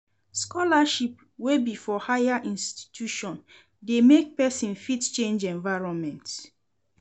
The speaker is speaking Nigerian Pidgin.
Scholarship wey be for higher institutions de make persin fit change environment